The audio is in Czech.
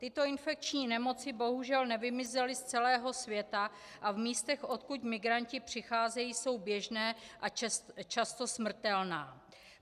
Tyto infekční nemoci bohužel nevymizely z celého světa a v místech, odkud migranti přicházejí, jsou běžné a často smrtelné.